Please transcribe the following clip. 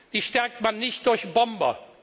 Die stärkt man nicht durch Bomber.